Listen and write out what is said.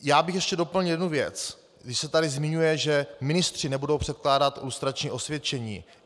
Já bych ještě doplnil jednu věc, když se tady zmiňuje, že ministři nebudou předkládat lustrační osvědčení.